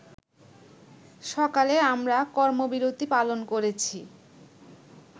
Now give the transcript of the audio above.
সকালে আমরা কর্মবিরতী পালন করেছি